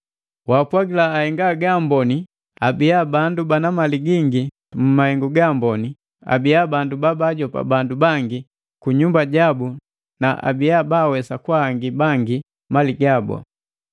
Wapwagila ahenga gaamboni abia na bandu bana mali gingi mu mahengu gaamboni, abiya bandu babajopa bandu bangi kunyumba jabu na abiya bawesa kwahangi bangi mali gabu.